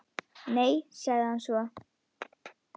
Nei- sagði hann svo.